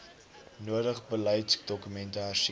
nodig beleidsdokumente hersien